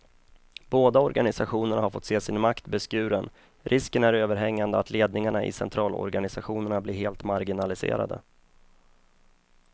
Båda organisationerna har fått se sin makt beskuren, risken är överhängande att ledningarna i centralorganisationerna blir helt marginaliserade.